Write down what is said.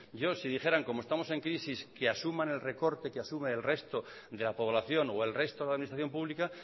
si dijeran como estamos en crisis que asuman el recorte que asuma el resto de la población o el resto de la administración pública